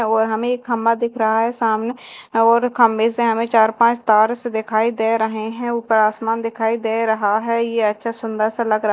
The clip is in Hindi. और हमें एक खंभा दिख रहा है सामने और खंभे से हमें चार पांच तार से दिखाई दे रहे हैं ऊपर आसमान दिखाई दे रहा है यह अच्छा सुंदर सा लग र--